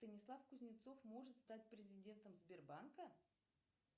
станислав кузнецов может стать президентом сбербанка